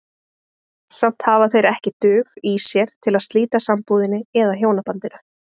Samt hafa þeir ekki dug í sér til að slíta sambúðinni eða hjónabandinu.